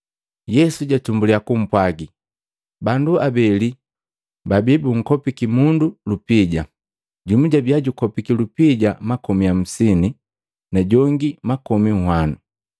Yesu jatumbuliya kupwaga, “Bandu abeli babii bunkopiki mundu lupija, jumu jabia jukopiki lupija makomi hamsine, na jongi makomi nhwanu.